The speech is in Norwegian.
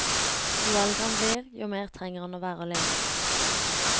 Jo eldre han blir, jo mer trenger han å være alene.